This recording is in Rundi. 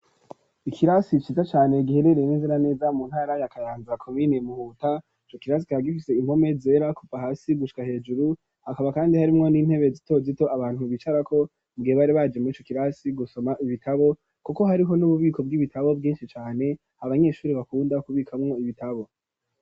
Ikirasi ciza cane giherereye neza na neza mu ntara ya Kayanza komine Muhuta ico kirasi kikaba gifise impome zera kuva hasi gushika hejuru hakaba kandi harimwo n'intebe zito zito abantu bicarako mu gihe bari baje murico kirasi gusoma ibitabo kuko hariho n'ububiko bw'ibitabo bwishi cane abanyeshuri bakunda ku bikamwo ibitabo.